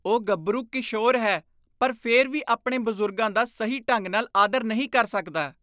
ਉਹ ਗੱਭਰੂ ਕਿਸ਼ੋਰ ਹੈ ਪਰ ਫਿਰ ਵੀ ਆਪਣੇ ਬਜ਼ੁਰਗਾਂ ਦਾ ਸਹੀ ਢੰਗ ਨਾਲ ਆਦਰ ਨਹੀਂ ਕਰ ਸਕਦਾ।